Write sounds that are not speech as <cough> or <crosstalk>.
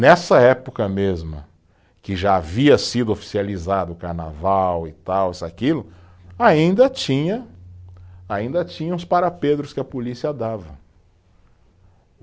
Nessa época mesma, que já havia sido oficializado o carnaval e tal, isso e aquilo, ainda tinha, ainda tinha os <unintelligible> que a polícia dava.